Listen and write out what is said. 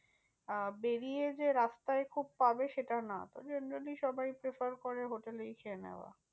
আহ বেরিয়ে যে রাস্তায় খুব পাবে সেটা না তো generally সবাই prefer করে hotel এই খেয়ে নেওয়া।